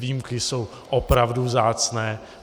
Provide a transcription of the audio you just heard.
Výjimky jsou opravdu vzácné.